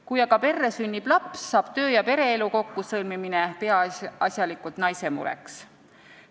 Kui aga perre sünnib laps, saab töö- ja pereelu kokkusõlmimine peaasjalikult naise mureks.